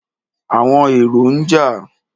Àwọn èrò ń jà.